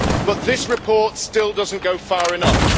But this report still does not go far enough.